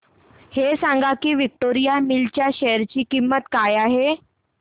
हे सांगा की विक्टोरिया मिल्स च्या शेअर ची किंमत काय आहे